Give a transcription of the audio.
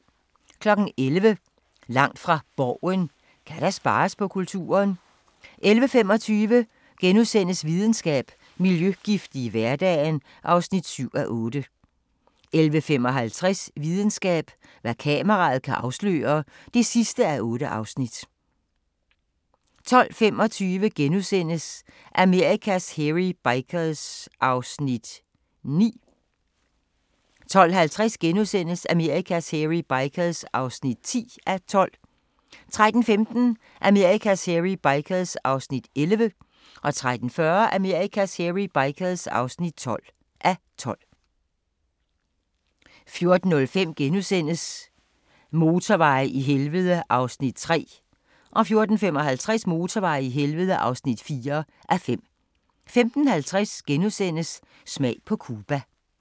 11:00: Langt fra Borgen: Kan der spares på kulturen? 11:25: Videnskab: Miljøgifte i hverdagen (7:8)* 11:55: Videnskab: Hvad kameraet kan afsløre (8:8) 12:25: Amerikas Hairy Bikers (9:12)* 12:50: Amerikas Hairy Bikers (10:12)* 13:15: Amerikas Hairy Bikers (11:12) 13:40: Amerikas Hairy Bikers (12:12) 14:05: Motorveje i helvede (3:5)* 14:55: Motorveje i helvede (4:5) 15:50: Smag på Cuba *